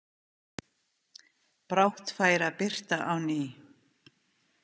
Brátt færi að birta á ný.